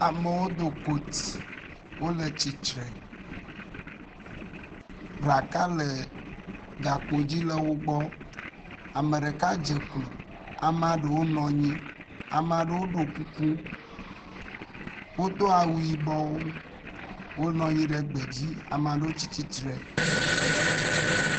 Amewo do kot, wole tsitre, ɖaka le gakpodzi le wogbɔ, ame ɖeka dzeklo, amea ɖewo nɔ anyi, amea ɖewo ɖo kuku, wodo awu yibɔwo, wonɔnyi ɖe gbe dzi, amewo tsi tsitre.